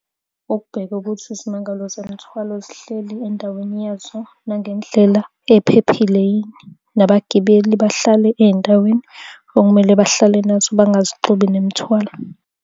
Ukubheka ukuthi izimangalo zemithwalo zihleli endaweni yethu nangendlela ephephile yini. Nabagibeli bahlale ey'ndaweni okumele bahlale nazo, bangazixubi nemithwalo.